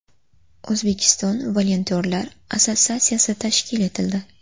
O‘zbekiston volontyorlari assotsiatsiyasi tashkil etildi.